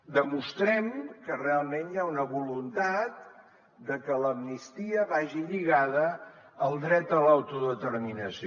demostrem que realment hi ha una voluntat de que l’amnistia vagi lligada al dret a l’autodeterminació